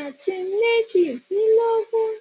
ati mejidilogun